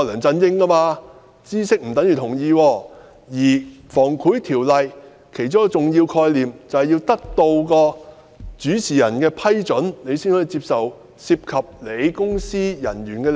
《防止賄賂條例》其中一個重要概念，就是要得到主事人的批准，才可以接受涉及其公司業務的利益。